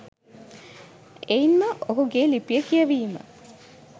එයින් ම ඔහුගේ ලිපිය කියැවීම